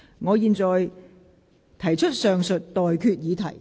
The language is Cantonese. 我現在向各位提出上述待決議題。